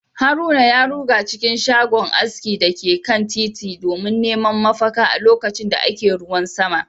haruna ya ruga cikin shago aski da ke kan titin domin neman mafaka a lokacin da ake ruwan sama